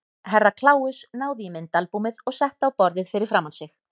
Herra Kláus náði í myndaalbúmið og setti á borðið fyrir framan sig.